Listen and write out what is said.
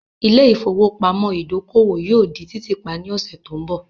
Ilé ìfowópamọ́ ìdókòwò yóò di títì pa ní ọ̀sẹ̀ tó ń bọ̀.